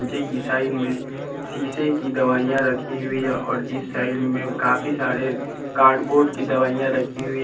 चे की साइड में शीशे की दवाइयां रखी हुई है और इस साइड में काफी सारे कार्डबोर्ड की दवाइयां रखी हुई--